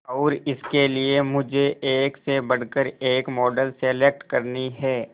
और इसके लिए मुझे एक से बढ़कर एक मॉडल सेलेक्ट करनी है